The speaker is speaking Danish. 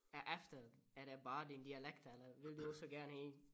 Er efter er det bare din dialekt eller vil du også gerne ind